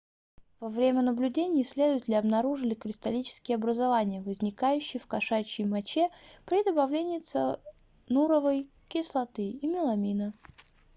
во время наблюдений исследователи обнаружили кристаллические образования возникающие в кошачьей моче при добавлении циануровой кислоты и меламина